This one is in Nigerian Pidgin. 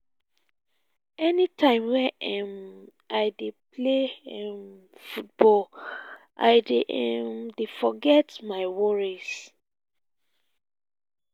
any time wey um i dey play um football i um dey forget about my worries